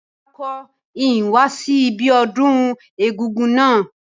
Rárá, n ko ni wa si ibiodún egúngún náà